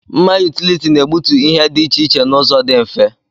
Mma yutility na-egbutu ihe dị iche iche n'ụzọ dị mfe.